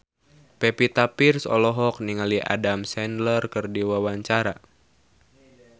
Pevita Pearce olohok ningali Adam Sandler keur diwawancara